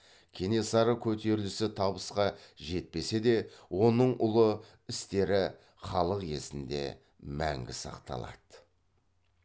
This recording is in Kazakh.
кенесары көтерілісі табысқа жетпесе де оның ұлы істері халық есінде мәңгі сақталады